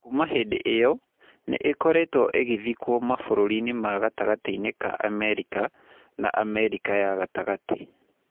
Kuuma hĩndĩ ĩyo, nĩ ĩkoretwo ĩgĩthikwo mabũrũri-inĩ ma gatagatĩ-inĩ ka Amerika na Amerika ya gatagatĩ.